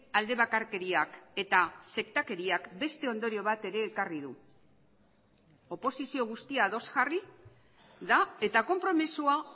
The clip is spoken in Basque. alde bakarkeriak eta sektakeriak beste ondorio bat ere ekarri du oposizio guztia ados jarri da eta konpromisoa